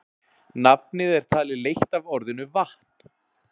Nafnið er talið leitt af orðinu vatn.